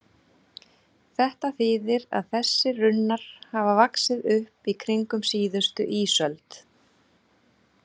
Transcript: Þetta þýðir að þessir runnar hafa vaxið upp í kringum síðustu ísöld.